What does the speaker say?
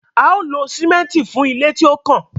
a ó lo sìmẹ́ǹtì fún ilé tí ó kàn.